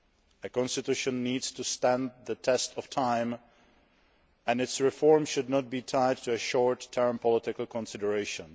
A constitution needs to stand the test of time, and its reform should not be tied to short term political considerations.